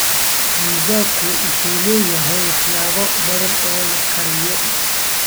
Pizza-ku wuxuu leeyahay waxyaabo badan oo la kariyo.